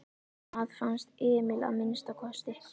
Það fannst Emil að minnsta kosti.